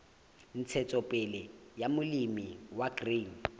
ntshetsopele ya molemi wa grain